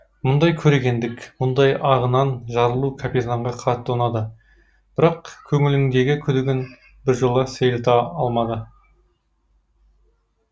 мұндай көрегендік мұндай ағынан жарылу капитанға қатты ұнады бірақ көңіліндегі күдігін біржола сейілта алмады